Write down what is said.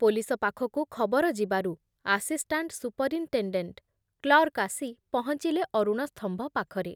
Police ପାଖକୁ ଖବର ଯିବାରୁ ଆସିଷ୍ଟାଣ୍ଟ ସୁପରିନଟେଣ୍ଡେଣ୍ଟ କ୍ଲର୍କ ଆସି ପହଞ୍ଚିଲେ ଅରୁଣସ୍ତମ୍ଭ ପାଖରେ ।